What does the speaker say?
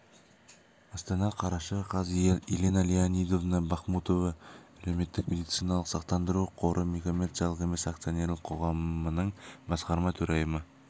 астана қараша қаз елена леонидовна бахмутова әлеуметтік медициналық сақтандыру қоры коммерциялық емес акционерлік қоғамының басқарма төрайымы